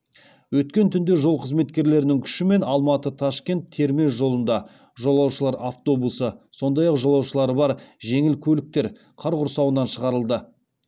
өткен түнде жол қызметтерінің күшімен алматы ташкент термез жолында жолаушылар автобусы сондай ақ жолаушылары бар жеңіл көліктер қар құрсауынан шығарылды